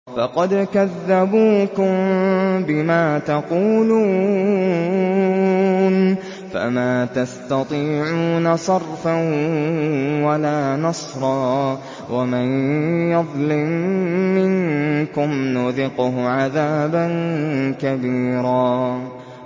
فَقَدْ كَذَّبُوكُم بِمَا تَقُولُونَ فَمَا تَسْتَطِيعُونَ صَرْفًا وَلَا نَصْرًا ۚ وَمَن يَظْلِم مِّنكُمْ نُذِقْهُ عَذَابًا كَبِيرًا